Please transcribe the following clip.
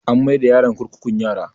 An mai da yaron kurkukun yara